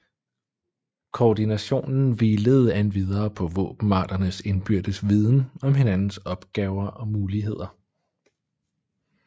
Koordinationen hvilede endvidere på våbenarternes indbyrdes viden om hinandens opgaver og muligheder